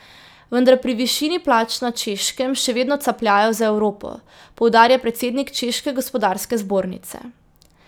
Vendar pri višini plač na Češkem še vedno capljajo za Evropo, poudarja predsednik češke gospodarske zbornice.